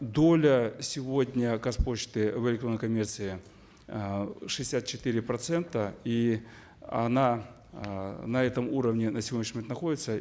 доля сегодня казпочты в электронной коммерции э шестьдесят четыре процента и она э на этом уровне на сегодняшний момент находится